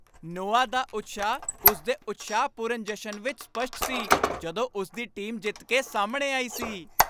Noah ਦਾ ਉਤਸ਼ਾਹ ਉਸ ਦੇ ਉਤਸ਼ਾਹਪੂਰਨ ਜਸ਼ਨ ਵਿੱਚ ਸਪੱਸ਼ਟ ਸੀ ਜਦੋਂ ਉਸ ਦੀ ਟੀਮ ਜਿੱਤ ਕੇ ਸਾਹਮਣੇ ਆਈ ਸੀ।